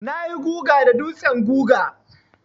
Na yi guga da dutsen guga.